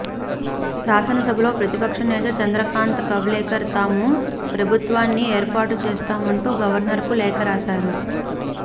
శాసనసభలో ప్రతిపక్ష నేత చంద్రకాంత్ కవ్లేకర్ తాము ప్రభుత్వాన్ని ఏర్పాటు చేస్తామంటూ గవర్నర్కు లేఖ రాశారు